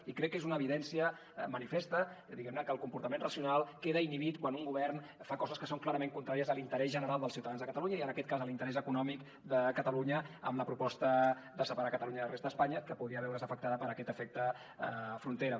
i crec que és una evidència manifesta diguem ne que el comportament racional queda inhibit quan un govern fa coses que són clarament contràries a l’interès general dels ciutadans de catalunya i en aquest cas a l’interès econòmic de catalunya amb la proposta de separar catalunya de la resta d’espanya que podria veure’s afectada per aquest efecte frontera